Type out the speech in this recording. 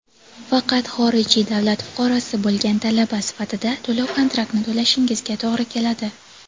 Faqat xorijiy davlat fuqarosi bo‘lgan talaba sifatida to‘lov-kontraktni to‘lashingizga to‘g‘ri keladi.